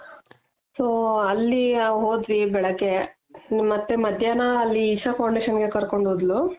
so ಅಲ್ಲಿ ಹೋದ್ವಿ ಬೆಳಗ್ಗೆ ಮತ್ತೆ ಮಧ್ಯಾಹ್ನ ಅಲ್ಲಿ isha foundation ಗೆ ಕರ್ಕೊಂಡು ಹೋದ್ಲು.